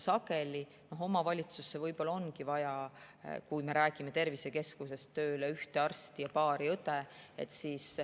Sageli ongi omavalitsusse võib-olla vaja, kui me räägime tervisekeskusest, tööle ühte arsti ja paari õde.